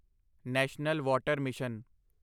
national water mission